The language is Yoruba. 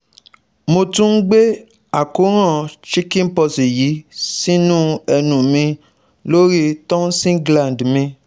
Mo tún ń gbé àkóràn chicken pox yìí sínú ẹnu mi lórí tonsil gland mi